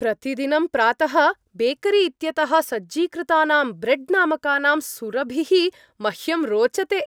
प्रतिदिनं प्रातः बेकरी इत्यतः सज्जीकृतानां ब्रेड् नामकानां सुरभिः मह्यं रोचते।